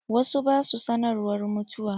Wasu ba sua sanarwar mutuwa.